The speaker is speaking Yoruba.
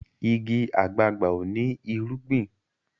ìgi àgbagbà o ní irúgbìn.